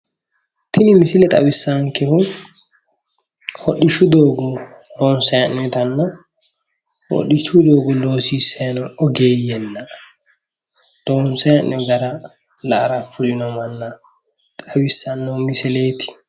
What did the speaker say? Tini misile xawissannonkehu hodhishshu doogo loonsanni hee'noonitanna hodhishshu doogo loosisanni noo ogeeyyenna loonsanni hee'noonni gara la'ara fulino manna xawissanno misileeti.